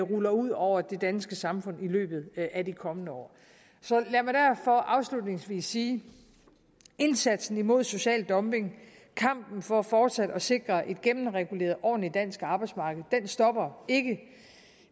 ruller ud over det danske samfund i løbet af de kommende år så lad mig derfor afslutningsvis sige indsatsen mod social dumping kampen for fortsat at sikre et gennemreguleret ordentligt dansk arbejdsmarked stopper ikke